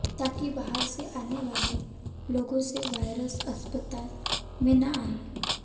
ताकि बाहर से आने वाले लोगों से वायरस अस्पताल में न आए